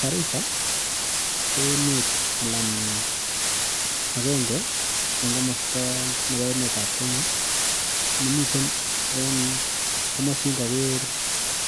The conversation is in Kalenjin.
Garissa ko emet anan aenge en komosta nebo emetab Kenya nemiten en komosin koger,